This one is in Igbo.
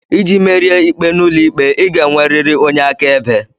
Iji merie ikpe n'ụlọikpe ị ga-enwerịrị onye akaebe